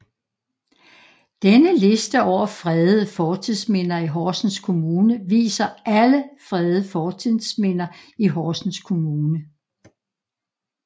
Denne liste over fredede fortidsminder i Horsens Kommune viser alle fredede fortidsminder i Horsens Kommune